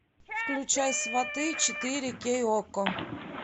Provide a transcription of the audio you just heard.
включай сваты четыре кей окко